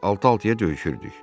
Biz altı-altıya döyüşürdük.